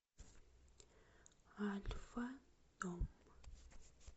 альфа дом